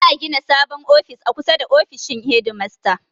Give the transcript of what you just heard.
Za'a gina sabon ofis a kusa da ofishin hedimasta.